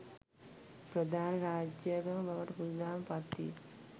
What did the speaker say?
ප්‍රධාන රාජ්‍යාගම බවට බුදුදහම පත්විය.